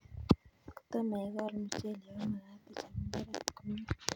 Kotomo ikol muchelek ko magat ichop mbaret komie